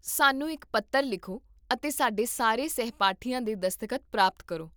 ਸਾਨੂੰ ਇੱਕ ਪੱਤਰ ਲਿਖੋ ਅਤੇ ਸਾਡੇ ਸਾਰੇ ਸਹਿਪਾਠੀਆਂ ਦੇ ਦਸਤਖਤ ਪ੍ਰਾਪਤ ਕਰੋ